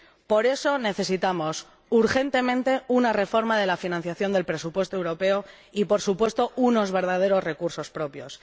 Por eso necesitamos urgentemente una reforma de la financiación del presupuesto europeo y, por supuesto, unos verdaderos recursos propios.